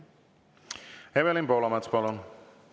Evelin Poolamets, palun!